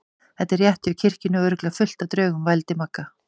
Þetta er rétt hjá kirkjunni og örugglega fullt af draugum. vældi Magga.